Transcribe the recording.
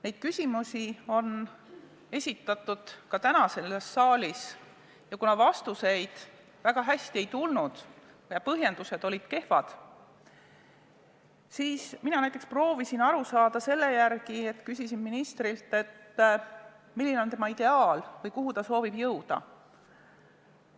Neid küsimusi on esitatud ka täna selles saalis ja kuna häid vastuseid ei ole antud ja põhjendused on olnud kehvad, siis mina näiteks proovisin aru saada selle järgi, et küsisin ministrilt, milline on tema ideaal või kuhu ta soovib jõuda.